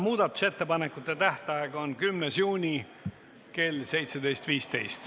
Muudatusettepanekute tähtaeg on 10. juuni kell 17.15.